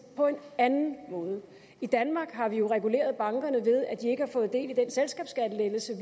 på en anden måde i danmark har vi jo reguleret bankerne ved at de ikke har fået del